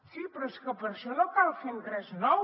sí però és que per això no cal fer res nou